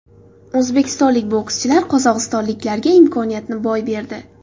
O‘zbekistonlik bokschilar qozog‘istonliklarga imkoniyatni boy berdi.